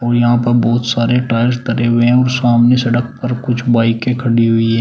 यहां पर बहुत सारे टायर्स धरे हुए हैं और सामने सड़क पर कुछ बाइके खड़ी हुई हैं।